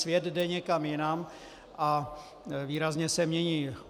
Svět jde někam jinam a výrazně se mění.